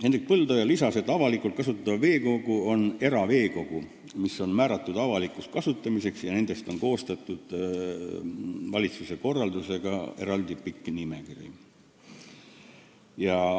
Hendrik Põldoja lisas, et avalikult kasutatav veekogu on eraveekogu, mis on määratud avalikuks kasutamiseks, ja nendest on koostatud valitsuse korraldusega eraldi pikk nimekiri.